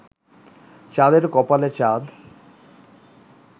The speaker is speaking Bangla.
চাঁদের কপালে চাঁদ